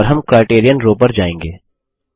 और हम criterion row पर जाएँगे